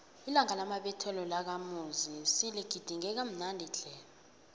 ilanga lamabeletho lakamuzi siligidinge kamnandi tle